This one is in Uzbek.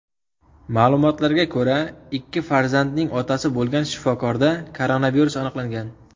Ma’lumotlarga ko‘ra, ikki farzandning otasi bo‘lgan shifokorda koronavirus aniqlangan.